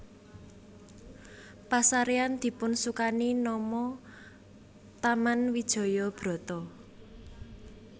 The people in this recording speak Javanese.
Pasarean dipunsukani nama Taman Wijaya Brata